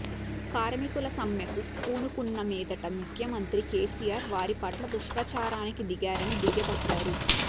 కార్మికులు సమ్మెకు పూనుకున్న మీదట ముఖ్యమంత్రి కేసీఆర్ వారి పట్ల దుష్ప్రచారానికి దిగారని దుయ్యబట్టారు